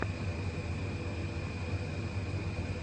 трансляция футбольного матча нью касла с ливерпулем